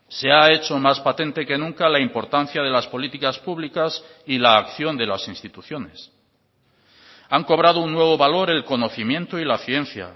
se ha hecho más patente que nunca la importancia de las políticas públicas y la acción de las instituciones han cobrado un nuevo valor el conocimiento y la ciencia